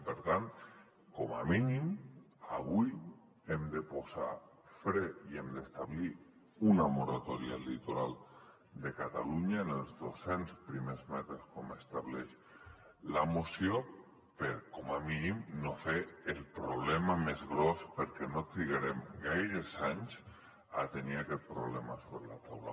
i per tant com a mínim avui hi hem de posar fre i hem d’establir una moratòria al litoral de catalunya en els dos cents primers metres com estableix la moció per com a mínim no fer el problema més gros perquè no trigarem gaires anys a tenir aquest problema sobre la taula